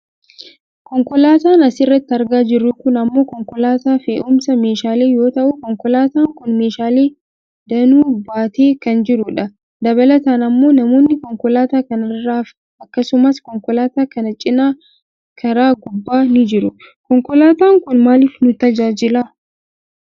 Konkolaataan asirratti argaa jirru kun ammoo konkolaataa fe'umsa meeshaalee yoo ta'u, konkolaataan kun meeshaalee danuu baatee kan jirudha. Dabalataan ammoo namoonni konkolaataa kana irraafi akkasumas konkolaataa kana cinaa karaa gubbaa ni jiru. Konkolaataan kun maaliif nu tajaajila?